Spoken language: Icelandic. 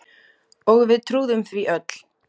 Og við trúðum því öll.